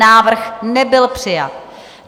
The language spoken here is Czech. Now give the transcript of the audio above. Návrh nebyl přijat.